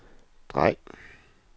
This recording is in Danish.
drej